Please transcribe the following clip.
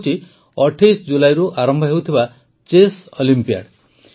ଏହାହେଉଛି ୨୮ ଜୁଲାଇରୁ ଆରମ୍ଭ ହେଉଥିବା ଚେସ୍ ଅଲିମ୍ପିଆଡ଼